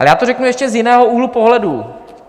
A já to řeknu ještě z jiného úhlu pohledu.